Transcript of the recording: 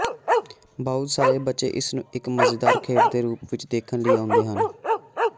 ਬਹੁਤ ਸਾਰੇ ਬੱਚੇ ਇਸ ਨੂੰ ਇੱਕ ਮਜ਼ੇਦਾਰ ਖੇਡ ਦੇ ਰੂਪ ਵਿੱਚ ਦੇਖਣ ਲਈ ਆਉਂਦੇ ਹਨ